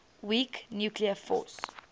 weak nuclear force